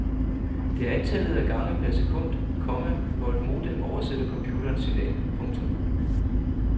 Det er antallet af gange per sekund, komma hvor et modem oversætter computerens signal. punktum